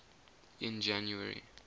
in january